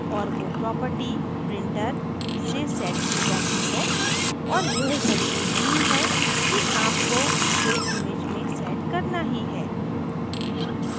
और वो property printer से set की जाती है और यह ज़रूरी नहीं है कि आपको इसे image में set करना ही है